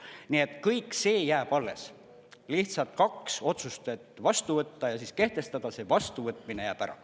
Nii et kõik see jääb alles, lihtsalt kaks otsust, et vastu võtta ja siis kehtestada, see vastuvõtmine jääb ära.